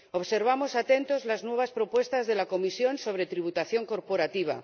Observamos atentos las nuevas propuestas de la Comisión sobre tributación corporativa.